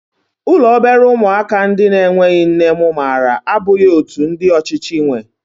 Ụlọ obere ụmụaka ndị na-enweghị nne mụ maara abụghị otú ndị ọchịchị nwee